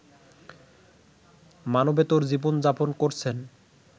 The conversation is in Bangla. মানবেতর জীবন-যাপন করছেন